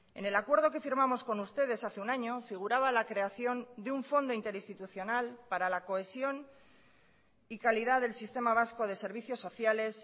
en el acuerdo que firmamos con ustedes hace un año figuraba la creación de un fondo interinstitucional para la cohesión y calidad del sistema vasco de servicios sociales